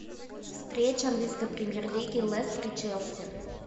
встреча английской премьер лиги лестер и челси